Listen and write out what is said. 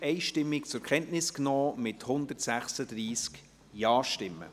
Sie haben auch diesen Bericht einstimmig zur Kenntnis genommen, mit 136 Ja-Stimmen.